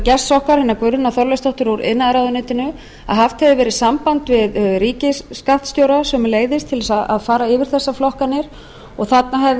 gests okkar hennar guðrúnar þorleifsdóttur úr iðnaðarráðuneyti að haft hefði verið samband við ríkisskattstjóra sömuleiðis til að fara yfir þessar flokkanir og þarna hefði